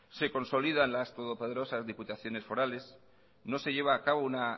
se consolidan las todopoderosas diputaciones forales no se lleva a cabo una